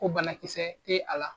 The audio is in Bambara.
O banakisɛ te a la.